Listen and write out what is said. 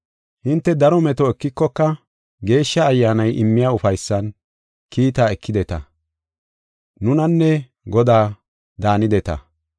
Hinte daro meto ekikoka Geeshsha Ayyaanay immiya ufaysan kiitaa ekideta; nunanne Godaa daanideta.